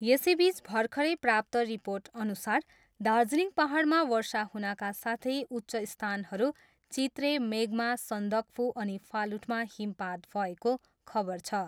यसैबिच र्भखरै प्राप्त रिर्पोटअनुसार दार्जिलिङ पाहाडमा वर्षा हुनका साथै उच्च स्थानहरू चित्रे, मेघमा, सन्दकफू अनि फालुटमा हिमपात भएको खबर छ।